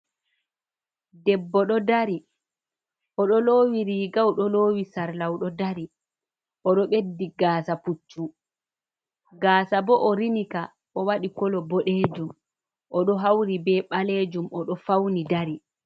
Debbo ɗo dari o ɗo lowi riiga, o ɗo lowi sarla, o ɗo dari. O ɗo ɓeddi gaasa puccu, gaasa bo o rinika o wadi kolo bodejum, o ɗo hauri be ɓalejum o ɗo fauni dari.